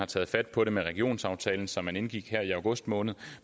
taget fat på det med regionsaftalen som man indgik i august måned